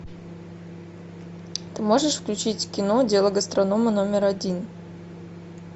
ты можешь включить кино дело гастронома номер один